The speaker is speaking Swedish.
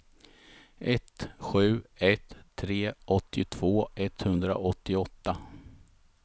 ett sju ett tre åttiotvå etthundraåttioåtta